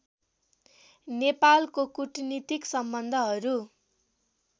नेपालको कूटनीतिक सम्बन्धहरू